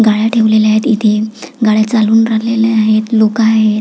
गाड्या ठेवलेल्या आहेत इथे गाड्या चालऊन राहिलेल्या आहेत लोक आहेत.